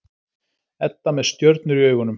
Edda með stjörnur í augunum.